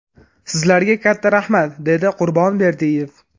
Sizlarga katta rahmat!” – dedi Qurbon Berdiyev.